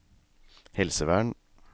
helsevern